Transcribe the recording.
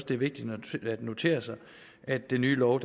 det er vigtigt at notere sig at den nye lov